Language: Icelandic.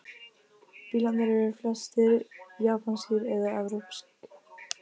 Bílarnir eru flestir japanskir eða evrópsk